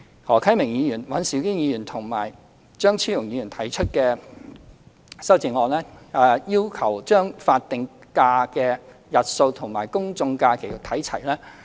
何啟明議員、尹兆堅議員和張超雄議員提出了修正案，要求將法定假的日數與公眾假期看齊。